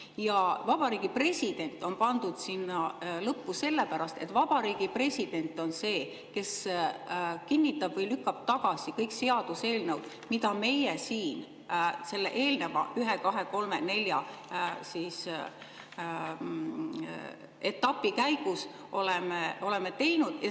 Ja Vabariigi President on pandud sinna lõppu sellepärast, et Vabariigi President on see, kes kinnitab või lükkab tagasi kõik seaduseelnõud, mida meie siin selle eelneva ühe, kahe, kolme, nelja etapi käigus oleme teinud.